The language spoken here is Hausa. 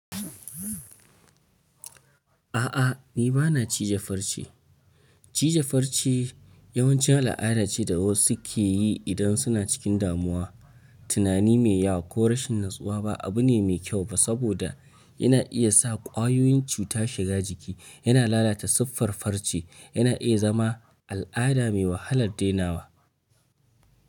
A'a ni bana cije farce. Cije farce yawancin al'ada ce da wasu suke yi idan suna cikin damuwa. Tunani me yawa ko rashin natsuwa ba abu ne mai kyau ba saboda yana iya sa ƙwayoyin cuta shiga jiki, yana lalata siffar farce, yana iya zama al'ada me wahalar dainawa.